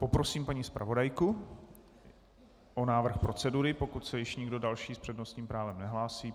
Poprosím paní zpravodajku o návrh procedury, pokud se už nikdo další s přednostním právem nehlásí.